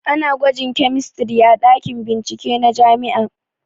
Ana gwajin kemistri a ɗakin bincike na jami'a